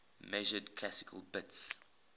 measured classical bits